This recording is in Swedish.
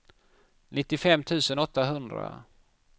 nittiofem tusen åttahundra